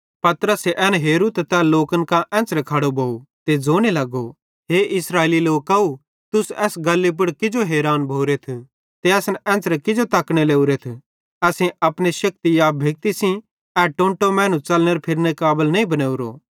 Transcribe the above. पतरसे एन हेरू त तै लोकन कां एन्च़रे खड़ो भोव ते ज़ोने लगो हे इस्राएली लोकव तुस एस गल्ली पुड़ किजो हैरान भोरेथ ते असन एन्च़रे किजो तकने लोरेथ असेईं अपने शक्ति या भक्ति सेइं ए टोंटो मैनू च़लने फिरनेरे काबल नईं बनेवरोए